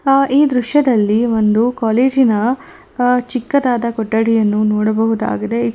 ಆ ಈ ದೃಶ್ಯದಲ್ಲಿ ಒಂದು ಕಾಲೇಜಿನ ಆ ಚಿಕ್ಕದಾದ ಕೊಠಡಿಯನ್ನು ನೋಡಬಹುದಾಗಿದೆ ಈ--